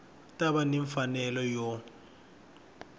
ta va ni mfanelo yo